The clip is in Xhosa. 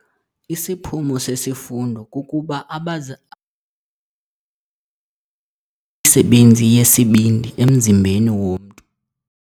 Isiphumo sesifundo kukuba abafundi abaza msebenzi yesibindi emzimbeni womntu.